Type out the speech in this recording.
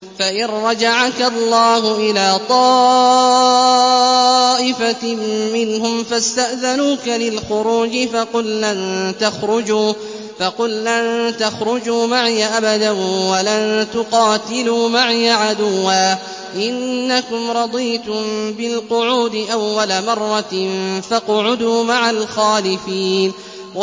فَإِن رَّجَعَكَ اللَّهُ إِلَىٰ طَائِفَةٍ مِّنْهُمْ فَاسْتَأْذَنُوكَ لِلْخُرُوجِ فَقُل لَّن تَخْرُجُوا مَعِيَ أَبَدًا وَلَن تُقَاتِلُوا مَعِيَ عَدُوًّا ۖ إِنَّكُمْ رَضِيتُم بِالْقُعُودِ أَوَّلَ مَرَّةٍ فَاقْعُدُوا مَعَ الْخَالِفِينَ